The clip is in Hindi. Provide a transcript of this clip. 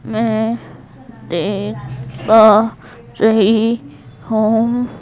मैं देख पा रही हूं।